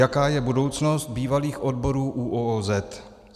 Jaká je budoucnost bývalých odborů ÚOOZ?